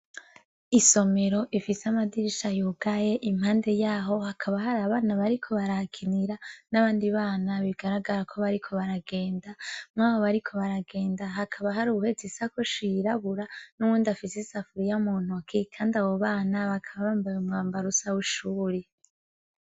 Isomero ifise amadirisha yugaye impande yaho hakaba hari abana bariko barahakinira nabandi bana bigaragarako bariko baragenda nkaho bariko baragenda hakaba hariho uwuhetse isakoshi yirabura nuwundi afise isafuriya mu ntoki knadi abo bana bakaba bambaye umwambaro usa wishuri.